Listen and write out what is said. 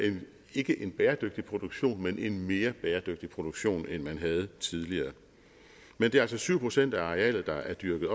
ikke en bæredygtig produktion men en mere bæredygtig produktion end man havde tidligere men det er altså syv procent af arealet der er dyrket